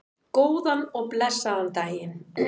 Góðan og blessaðan daginn!